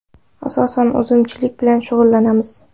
Asosan uzumchilik bilan shug‘ullanamiz.